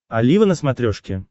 олива на смотрешке